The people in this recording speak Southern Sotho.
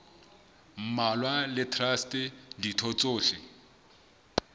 mmalwa le traste ditho tsohle